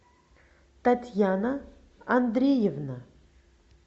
татьяна андреевна